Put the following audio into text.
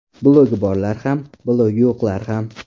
Blogi borlar ham, blogi yo‘qlar ham.